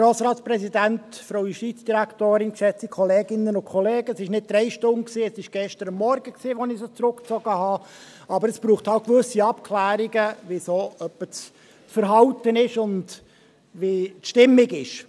Es waren nicht drei Stunden, sondern es war gestern Morgen, als ich sie zurückzog, aber es braucht halt gewisse Abklärungen, wie das Verhalten ungefähr ist und wie die Stimmung ist.